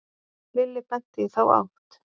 Lilli benti í þá átt.